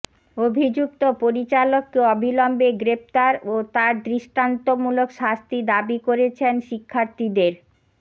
অভিযুক্ত পরিচালককে অবিলম্বে গ্রেফতার ও তার দৃষ্টান্তমূলক শাস্তি দাবি করেছেন শিক্ষার্থীদের